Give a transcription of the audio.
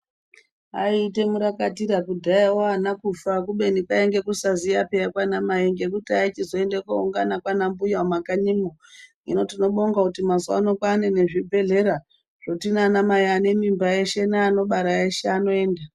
Aita murakatira kudhayayo ana kufa kubeni kwainge kusaziya kwana Mai kwaizoita uende kuungana kwana mbuya kumakanyimo hino tinobonga kuti mazuva ano kwane zvibhedhlera zvekuti ana mai ane mimba eshe anobara eshe anoenda.